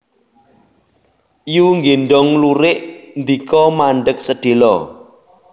Yu nggéndhong lurik ndika mandheg sedhéla